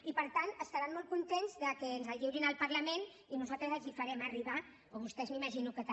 i per tant deuran estar molt contents que ens el lliurin al parlament i nosaltres els el farem arribar o vostès m’imagino que també